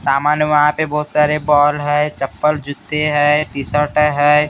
सामान वहाँ पे बहुत सारे बॉल है चप्पल जूते हैं टी शर्ट हैं।